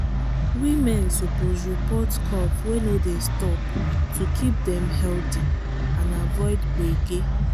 women suppose report cough wey no dey stop to keep dem healthy and avoid gbege.